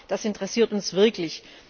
Ja, das interessiert uns wirklich.